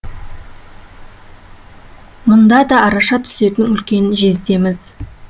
мұнда да араша түсетін үлкен жездеміз